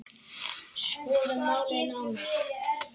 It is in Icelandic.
Skoðum málið nánar.